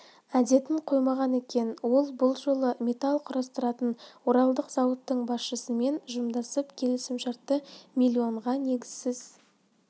әдетін қоймаған екен ол бұл жолы металл құрастыратын оралдық зауыттың басшысымен жымдасып келісімшартты милионға негізсіз